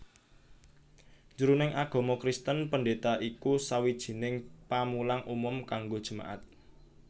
Jroning agama Kristen pendeta iku sawijining pamulang umum kanggo jemaat